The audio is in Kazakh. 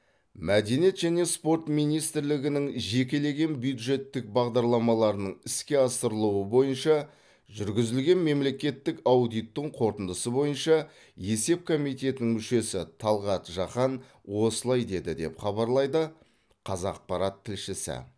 мәдениет және спорт министрлігінің жекелеген бюджеттік бағдарламаларының іске асырылуы бойынша жүргізілген мемлекеттік аудиттің қорытындысы бойынша есеп комитетінің мүшесі талғат жақан осылай деді деп хабарлайды қазақпарат тілшісі